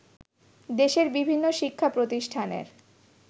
দেশের বিভিন্ন শিক্ষাপ্রতিষ্ঠানের